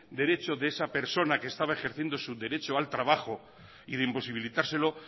derecho de esa persona que estaba ejerciendo su derecho al trabajo y de imposibilitárselo